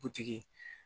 Butigi